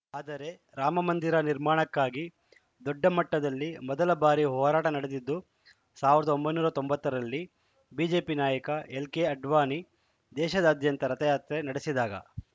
ಆದರೆ ರಾಮಮಂದಿರ ನಿರ್ಮಾಣಕ್ಕಾಗಿ ದೊಡ್ಡ ಮಟ್ಟದಲ್ಲಿ ಮೊದಲ ಬಾರಿ ಹೋರಾಟ ನಡೆದಿದ್ದು ಸಾವಿರದ ಒಂಬೈನೂರ ತೊಂಬತ್ತ ರಲ್ಲಿ ಬಿಜೆಪಿ ನಾಯಕ ಎಲ್‌ ಕೆ ಅಡ್ವಾಣಿ ದೇಶಾದ್ಯಂತ ರಥಯಾತ್ರೆ ನಡೆಸಿದಾಗ